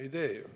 Ei tee ju.